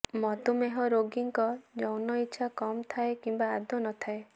ମଧୁମେହ ରୋଗୀଙ୍କ ଯୌନ ଇଚ୍ଛା କମ୍ ଥାଏ କିମ୍ବା ଆଦୌ ନଥାଏ